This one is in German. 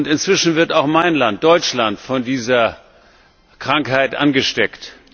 Inzwischen wird auch mein Land, Deutschland, von dieser Krankheit angesteckt.